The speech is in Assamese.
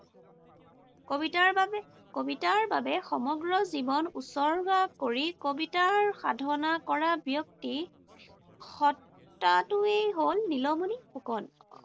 কবিতাৰ বাবে কবিতাৰ বাবে সমগ্ৰ জীৱন উচৰ্গা কৰি কবিতাৰ সাধনা কৰা ব্যক্তি সত্তাটোৱেই হল নীলমণি ফুকন।